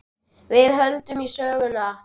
Við höldum í söguna.